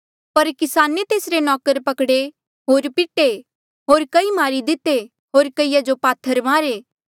पर किसाने तेसरे नौकर पकड़े कई पिटे होर कई मारी दिते होर कईया जो पात्थर मारे